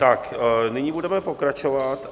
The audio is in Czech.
Tak nyní budeme pokračovat.